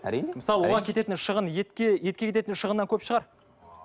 әрине мысалы оған кететін шығын етке етке кететін шығыннан көп шығар